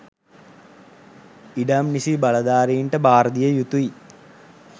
ඉඩම් නිසි බලධාරීන්ට භාරදිය යුතුයි